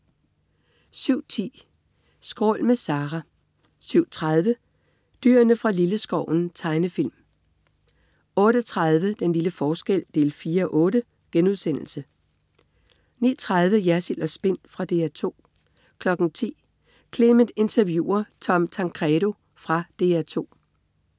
07.10 Skrål. Med Zerah 07.30 Dyrene fra Lilleskoven. Tegnefilm 08.30 Den lille forskel 4:8* 09.30 Jersild & Spin. Fra DR 2 10.00 Clement interviewer Tom Tancredo. Fra DR 2